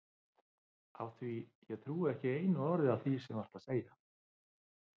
Af því að ég trúi ekki orði af því sem þú ert að segja.